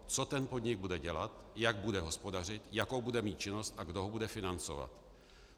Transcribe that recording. Co ten podnik bude dělat, jak bude hospodařit, jakou bude mít činnost a kdo ho bude financovat?